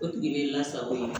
O tigi bɛ lasago yen